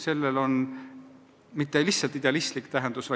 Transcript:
Sellel pole mitte lihtsalt idealistlik seletus.